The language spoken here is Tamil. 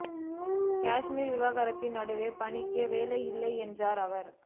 காஷ்மீர் விவகாரத்தில் நடுவர் பணிக்கே வேலை இல்லை என்றார் அவர்